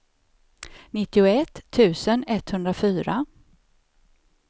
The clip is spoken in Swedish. nittioett tusen etthundrafyra